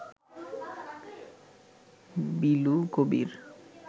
Bilu Kabir